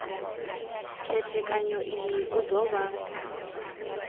khethekanyo iyi u do vha